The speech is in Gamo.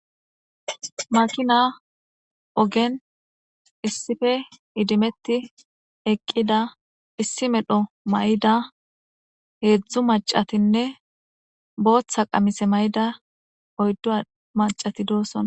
makina ogen issippe idimetti eqqida issi medho mayda heedzdzu macatinne booththa qamise mayda oyddo macati doossonna